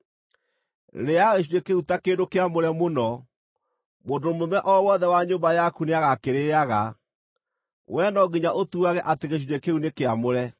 Rĩĩaga gĩcunjĩ kĩu ta kĩndũ kĩamũre mũno; mũndũ mũrũme o wothe wa nyũmba yaku nĩagakĩrĩĩaga. Wee no nginya ũtuage atĩ gĩcunjĩ kĩu nĩ kĩamũre.